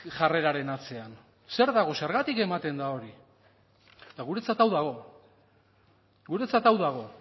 jarreraren atzean zer dago zergatik ematen da hori eta guretzat hau dago guretzat hau dago